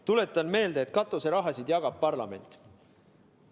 Tuletan meelde, et katuseraha jagab parlament.